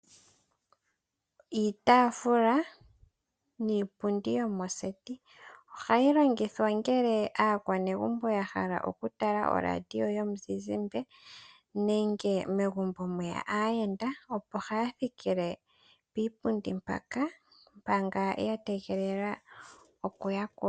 Iitafula niipundi yomoseti. Ohayi longithwa ngele aakwanegumbo ya hala oku tala oRadio yomuzizimbe nenge ngele mweya aayenda opo haya thikile piipundi mpaka manga ya tega oku yakulwa.